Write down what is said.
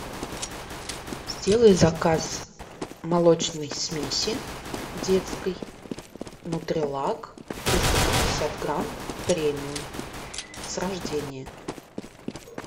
сделай заказ молочной смеси детской нутрилак триста пятьдесят грамм премиум с рождения